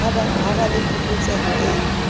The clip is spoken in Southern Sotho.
ha ba le phokotseho e